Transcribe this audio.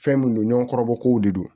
Fɛn mun don ɲɔgɔn kɔrɔbɔ kow de don